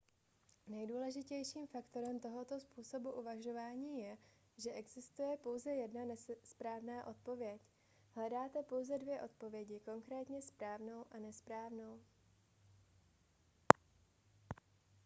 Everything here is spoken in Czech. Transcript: nejdůležitějším faktorem tohoto způsobu uvažování je že existuje pouze jedna správná odpověď hledáte pouze dvě odpovědi konkrétně správnou a nesprávnou